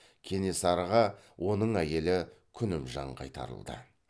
кенесарыға оның әйелі күнімжан қайтарылды